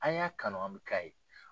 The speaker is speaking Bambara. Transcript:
An y'a kanu an bɛ k'a ye.